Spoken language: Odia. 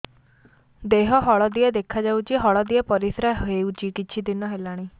ଦେହ ହଳଦିଆ ଦେଖାଯାଉଛି ହଳଦିଆ ପରିଶ୍ରା ହେଉଛି କିଛିଦିନ ହେଲାଣି